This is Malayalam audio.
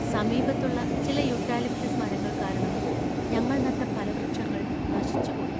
സമീപത്തുള്ള ചില യൂക്കാലിപ്റ്റസ് മരങ്ങൾ കാരണം ഞങ്ങൾ നട്ട ഫലവൃക്ഷങ്ങൾ നശിച്ചുപോയി.